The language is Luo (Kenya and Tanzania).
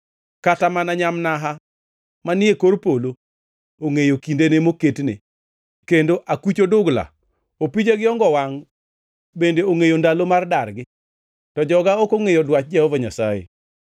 Kata mana nyamnaha manie kor polo ongʼeyo kindene moketne, kendo akuch odugla, opija gi ongo-wangʼ bende ongʼeyo ndalo mar dargi. To joga ok ongʼeyo dwach Jehova Nyasaye.